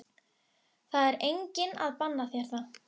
Það er enginn að banna þér það.